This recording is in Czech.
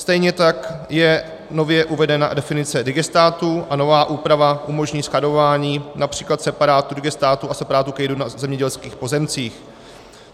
Stejně tak je nově uvedena definice digestátu a nová úprava umožní skladování například separátu digestátu a separátu kejdy na zemědělských pozemcích.